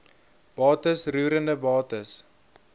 bates roerende bates